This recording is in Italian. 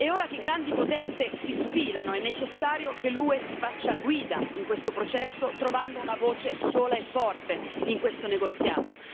E ora che grandi potenze si sfilano, è necessario che l'UE si faccia guida in questo processo, trovando una voce sola e forte in questo negoziato.